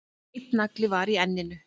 Einn nagli var í enninu